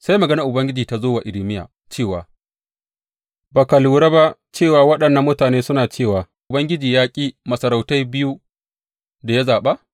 Sai maganar Ubangiji ta zo wa Irmiya cewa, Ba ka lura ba cewa waɗannan mutane suna cewa, Ubangiji ya ƙi masarautai biyu da ya zaɓa’?